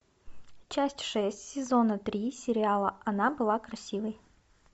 часть шесть сезона три сериала она была красивой